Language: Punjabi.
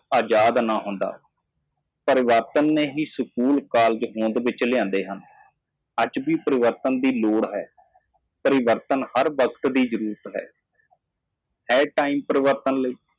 ਮੁਫ਼ਤ ਨਾ ਹੁੰਦਾ ਸਕੂਲ ਕਾਲਜ ਵਿੱਚ ਤਬਦੀਲੀ ਲਿਆਏ ਹਨ ਤਬਦੀਲੀ ਦੀ ਅਜੇ ਵੀ ਲੋੜ ਹੈ ਤਬਦੀਲੀ ਦੀ ਹਰ ਸਮੇਂ ਲੋੜ ਹੁੰਦੀ ਹੈ ਇਹ ਇੱਕ ਤਬਦੀਲੀ ਲਈ ਵਾਰ ਹੈ